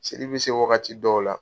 Seli bɛ se wagati dɔw la.